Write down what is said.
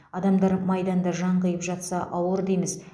адамдар майданда жан қиып жатса ауыр дейміз